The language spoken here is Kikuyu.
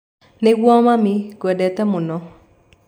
Nĩguo mami, ngwendete mũno